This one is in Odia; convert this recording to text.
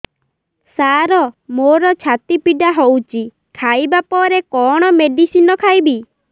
ସାର ମୋର ଛାତି ପୀଡା ହଉଚି ଖାଇବା ପରେ କଣ ମେଡିସିନ ଖାଇବି